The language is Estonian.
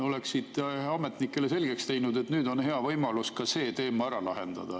Oleksite võinud ametnikele selgeks teha, et nüüd on hea võimalus ka see teema ära lahendada.